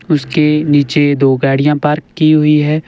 उसके नीचे दो गाड़ियां पार्क की हुई हैं।